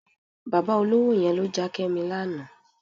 Bàbá olówó yẹn ló já Kẹ́mi lánàá.